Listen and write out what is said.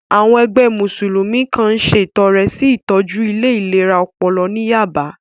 Àwọn ẹgbẹ́ Mùsùlùmí kan ṣètọrẹ sí ìtọ́jú ilé ìlera ọpọlọ ní Yába